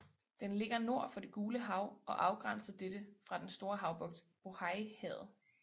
Den ligger nord for det Gule Hav og afgrænser dette fra den store havbugt Bóhăihavet